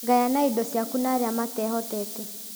Gayana indo ciaku na arĩa mateehotete